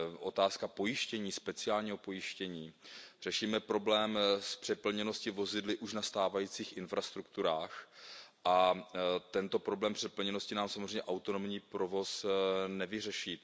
Otázka pojištění, speciálního pojištění, řešíme problém s přeplněnosti vozidly už na stávajících infrastrukturách a tento problém přeplněnosti nám samozřejmě autonomní provoz nevyřeší.